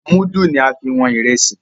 mudu ní a fín wón Ìrẹsí.